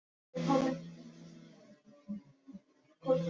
Það verður vandi að gera steinda glugga í þessa kirkju!